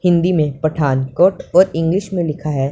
हिंदी में पठानकोट और इंग्लिश में लिखा है--